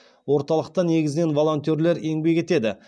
орталықта негізінен волонтерлер еңбек етеді